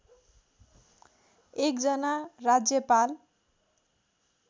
एक जना राज्यपाल